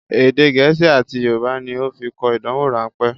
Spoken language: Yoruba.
Èdè gẹ̀ẹ́sì àti Yorùbá ní ó fi kọ ìdánwò rán pẹ́